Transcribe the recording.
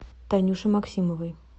танюше максимовой